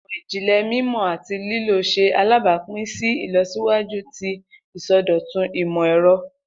Imọ-jinlẹ mimọ ati lilo ṣe alabapin si ilọsiwaju ti isọdọtun imọ-ẹrọ.